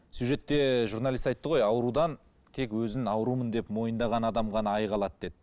сюжетте журналист айтты ғой аурудан тек өзін аурумын деп мойындаған адам ғана айыға алады деді